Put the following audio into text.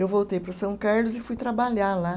Eu voltei para São Carlos e fui trabalhar lá.